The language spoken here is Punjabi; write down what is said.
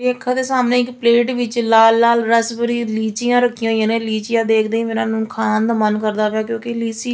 ਅੱਖਾਂ ਦੇ ਸਾਹਮਣੇ ਇੱਕ ਪਲੇਟ ਵਿੱਚ ਲਾਲ ਲਾਲ ਰਸ ਭਰੀ ਲੀਚੀਆਂ ਰੱਖੀਆਂ ਹੋਈਆਂ ਨੇ ਲੀਚੀਆਂ ਦੇਖਦੇ ਹੀ ਮੇਰਾ ਉਹਨੂੰ ਖਾਣ ਦਾ ਮਨ ਕਰਦਾ ਪਿਆ ਕਿਉਂਕਿ ਲੀਚੀ --